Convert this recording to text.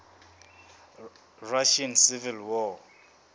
russian civil war